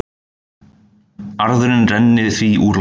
Arðurinn renni því úr landi